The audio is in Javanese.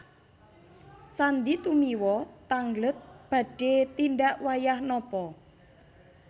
Sandy Tumiwa tangglet badhe tindak wayah napa